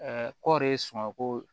kɔɔri sumanko